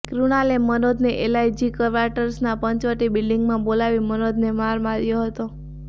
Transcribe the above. કૃણાલે મનોજને એલઆઇજી કવાટર્સના પંચવટી બિલ્ડીંગમાં બોલાવી મનોજને માર માર્યો હતો